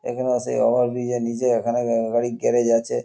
এখানে আ সেই ওভার ব্রিজ- -এর নীচে এখানে গা গাড়ির গ্যারেজ আচে।